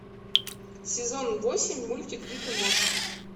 сезон восемь мультик рик и морти